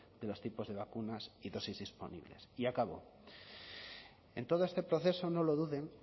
de los tipos de vacunas y dosis disponibles y acabo en todo este proceso no lo duden